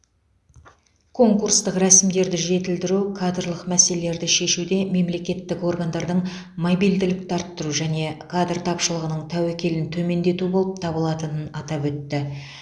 конкурстық рәсімдерді жетілдіру кадрлық мәселелерді шешуде мемлекеттік органдардың мобильділікті арттыру және кадр тапшылығының тәуекелін төмендету болып табылатынын атап өтті